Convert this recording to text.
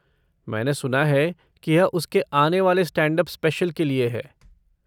मैंने सुना है कि यह उसके आने वाले स्टैंड अप स्पेशल के लिए है।